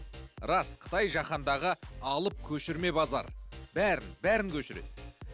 рас қытай жаһандағы алып көшірме базары бәрін бәрін көшіреді